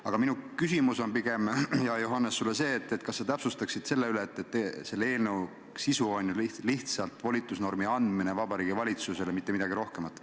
Aga minu küsimus on pigem, hea Johannes, sulle see, kas sa täpsustaksid üle, et selle eelnõu sisu on lihtsalt volitusnormi andmine Vabariigi Valitsusele ja mitte midagi rohkemat.